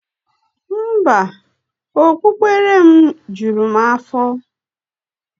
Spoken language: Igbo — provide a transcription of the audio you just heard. Mba, okpukpere m juru m afo.